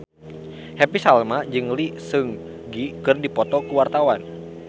Happy Salma jeung Lee Seung Gi keur dipoto ku wartawan